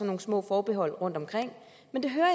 nogle små forbehold rundtomkring men det